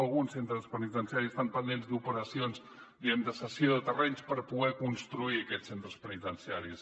alguns centres penitenciaris estan pendents d’operacions diguem ne de cessió de terrenys per poder construir aquests centres penitenciaris